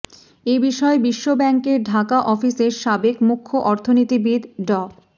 এ বিষয়ে বিশ্বব্যাংকের ঢাকা অফিসের সাবেক মুখ্য অর্থনীতিবিদ ড